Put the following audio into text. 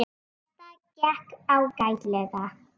Þetta gekk ágætlega.